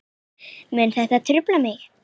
Mun þetta trufla mig?